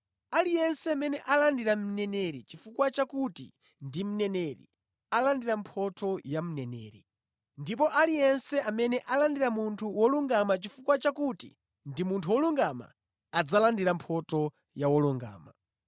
Aliyense amene alandira mneneri chifukwa chakuti ndi mneneri alandira mphotho ya mneneri, ndipo aliyense amene alandira munthu wolungama chifukwa chakuti ndi munthu wolungama, adzalandira mphotho ya wolungama.